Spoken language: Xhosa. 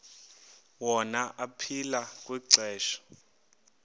wona aphila kwixesha